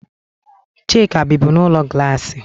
Chika bibu n'ulo glassi.